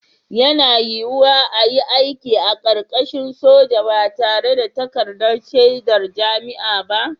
Yana yiwuwa a yi aiki a ƙarƙashin soja ba tare da takardar shaidar jami'a ba